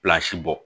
bɔ